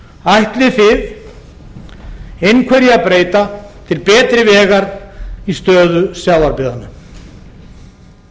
ætlið þið einhverju að breyta til betri vegar í stöðu sjávarbyggðanna